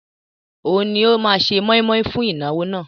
Òun ni ó máa se mọ́ímọ́í fún ìnáwó náà